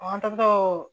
An tagatɔ